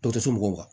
Dɔ tɛ se mɔgɔw kan